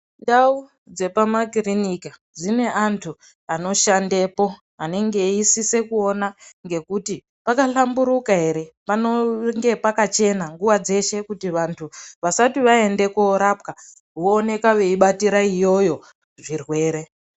Ndau dzepamakiriniki dzine anthu anoshandepo anenge eisise kuona ngekuti pakahlamburuka ere panenge pakachena nguwa dzeshe nokuti vanthu vasti vaende korapwa vooneka veibatira iyoyo zvirwere.